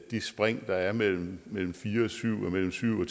de spring der er mellem mellem fire og syv og mellem syv og